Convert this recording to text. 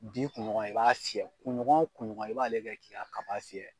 Bi kuɲɔgɔn i b'a fiyɛ. Kuɲɔgɔn kuɲɔgɔn i b'ale kɛ k'i ka kaba fiyɛ.